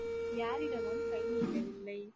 யாரிடமும் கை நீட்டவில்லை